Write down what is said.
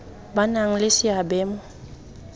ba nang le seabe mo